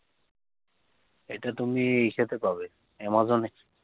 এটা তুমে সেটে পাবে amazon এ